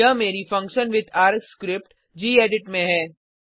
यहाँ मेरी function with args script gedit में है